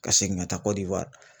Ka segin ka taa kɔdiwari